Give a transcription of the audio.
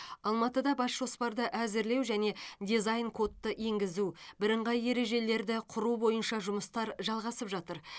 алматыда бас жоспарды әзірлеу және дизайн кодты енгізу бірыңғай ережелерді құру бойынша жұмыстар жалғасып жатыр